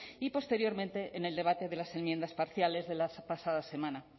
y posteriormente en el debate de las enmiendas parciales de la pasada semana